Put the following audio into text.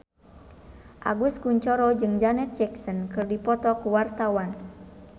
Agus Kuncoro jeung Janet Jackson keur dipoto ku wartawan